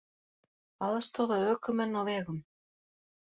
Aðstoða ökumenn á vegum